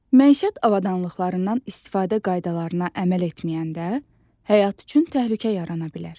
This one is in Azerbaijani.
Məişət avadanlıqlarından istifadə qaydalarına əməl etməyəndə, həyat üçün təhlükə yarana bilər.